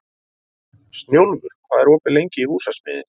Snjólfur, hvað er opið lengi í Húsasmiðjunni?